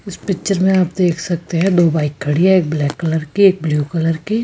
इस पिक्चर में आप देख सकते हैं दो बाइक खड़ी है एक ब्लैक कलर की एक ब्लू कलर की --